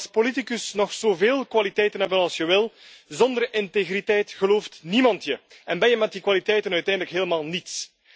Je mag als politicus nog zoveel kwaliteiten hebben als je wil, zonder integriteit gelooft niemand je en ben je met die kwaliteiten uiteindelijk helemaal niets.